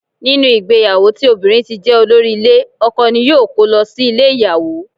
Nínú ìgbéyàwó tí obìnrin ti jé olórí ile, ọkọ ní yóò ko lọ sí ilé ìyàwó.